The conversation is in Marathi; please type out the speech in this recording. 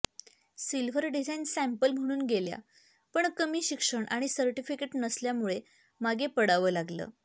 सिल्व्हर डिझाईन सॅम्पल म्हणून गेल्या पण कमी शिक्षण आणि सर्टिफिकेट नसल्यामुळे मागे पडावं लागलं